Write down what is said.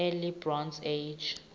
early bronze age